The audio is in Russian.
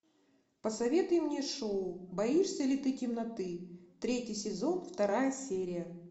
посоветуй мне шоу боишься ли ты темноты третий сезон вторая серия